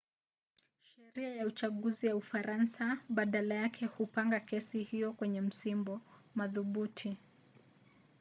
sheria ya uchaguzi ya ufaransa badala yake hupanga kesi hiyo kwenye msimbo. madhubuti